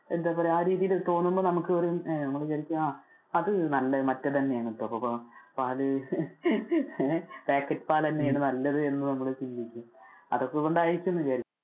എന്താ പറയാ ആ രീതിയിൽ തോന്നുമ്പോ, നമുക്ക് നമ്മള് വിചാരിക്കും അത് നല്ലതു മറ്റേതു തന്നെ ആണെന്ന് ഇപ്പൊ പാല് packet പാല് തന്നെയാണ് എന്ന് നമ്മള് ചിന്തിക്കും അതൊക്കെ കൊണ്ട് ആയിരിക്കും എന്ന് വിചാരിക്കാം.